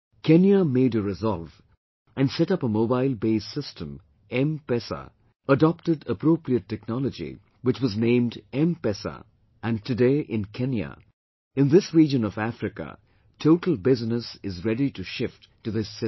Kenya made a resolve and set up a mobile based system MPESA, adopted appropriate technology which was named MPESA and today in Kenya, in this region of Africa, total business is ready to shift to this system